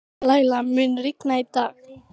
Læla, mun rigna í dag?